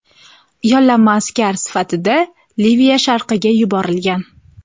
yollanma askar sifatida Liviya sharqiga yuborilgan.